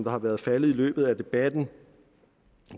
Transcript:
har været faldet i løbet af debatten